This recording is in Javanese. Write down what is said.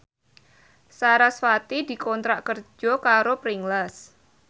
sarasvati dikontrak kerja karo Pringles